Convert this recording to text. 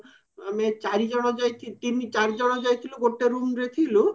ଆମେ ଚାରି ଜଣ ତିନି ଚାରି ଜଣ ଯାଇଥିଲୁ ଗୋଟେ roomରେ ଥିଲୁ